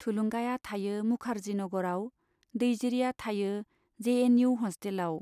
थुलुंगाया थायो मुखार्जी नग'राव , दैजिरिया थायो जे एन इउ हस्टेलाव।